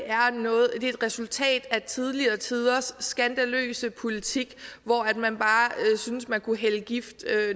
et resultat af tidligere tiders skandaløse politik hvor man bare synes man kunne hælde gift